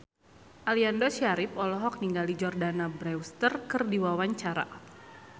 Aliando Syarif olohok ningali Jordana Brewster keur diwawancara